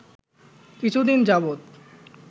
কিছুদিন যাবৎ